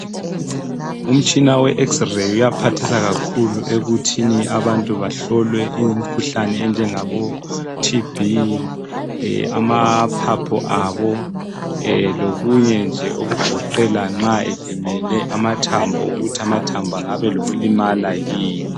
Umtshina we X-ray uyaphathisa kakhulu ekuthini abantu behlolwe imikhuhlane enjengabo TB amaphaphu abo lokunye nje okugoqela nxa elimele amathambo ukuthi amathambo angabe elokulimala yini.